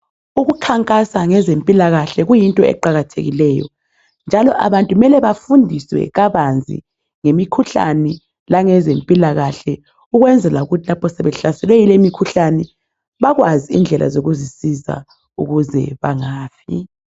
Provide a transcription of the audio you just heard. Ukukhankasa ngezempilakahle kuyinto eqakathekileyo njalo abantu kumele bafundiswe kabanzi ngemikhuhlane langezempilakahle ukwenzela ukuthi lapho sebehlaselwe yile mikhuhlane bakwazi indlela zokuzisiza ukuze bangafi.